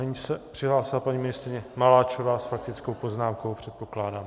Nyní se přihlásila paní ministryně Maláčová s faktickou poznámkou, předpokládám.